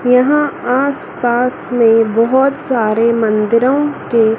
यहां आस पास में बहोत सारे मंदिरों के--